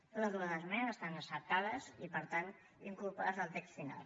totes dues esmenes estan acceptades i per tant incorporades al text final